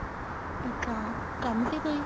ਅੱਛਾ ਕੰਮ ਸੀ ਕੋਈ